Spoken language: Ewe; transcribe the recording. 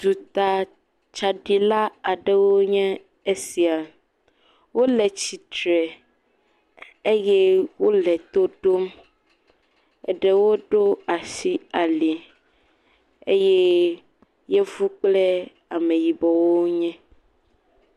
Duta tsaɖila aɖewoe nye esia, wole tsitre eye wole to ɖom, eɖewo ɖo asi ali eye yevu kple ameyibɔ wonye.